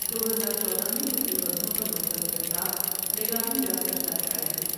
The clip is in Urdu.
دو ہزار چودہ میں ان کی غزلوں پر مشتمل کتاب نگاہن جا سجدا شایع ہوئی ۔